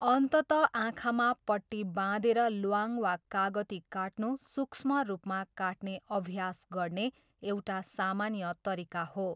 अन्ततः आँखामा पट्टी बाँधेर ल्वाङ वा कागती काट्नु सूक्ष्म रूपमा काट्ने अभ्यास गर्ने एउटा सामान्य तरिका हो।